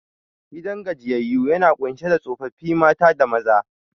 Gidan gajiyyayu yana kunshe da tsofaffi mata da maza